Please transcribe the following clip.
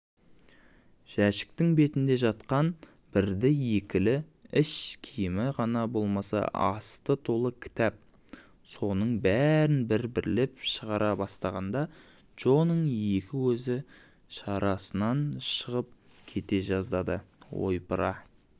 жәшіктің бетінде жатқан бірді-екілі іш киімі ғана болмаса асты толы кітап соның бәрін бір-бірлеп шығара бастағанда джоның екі көзі шарасынан шығып кете жаздадыойпыра